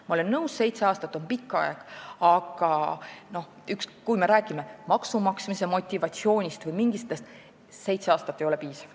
Ma olen nõus, et seitse aastat on pikk aeg, aga kui me räägime näiteks maksumaksmise motivatsioonist või millestki muust sellisest, siis seitse aastat ei ole piisav.